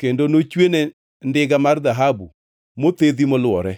kendo nochwene ndiga mar dhahabu mothedhi molwore.